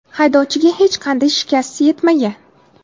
Haydovchiga hech qanday shikast yetmagan.